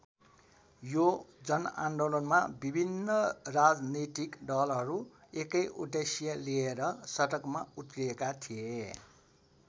यो जनआन्दोलनमा विभिन्न राजनीतिक दलहरू एकै उद्देश्य लिएर सडकमा उत्रिएका थिए।